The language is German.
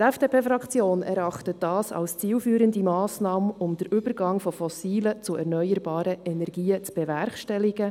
Die FDP-Fraktion erachtet dies als eine zielführende Massnahme, um den Übergang von fossilen zu erneuerbaren Energien zu bewerkstelligen.